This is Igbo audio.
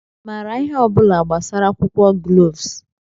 ị maara ihe ọ bụla gbasara akwụkwọ gloves?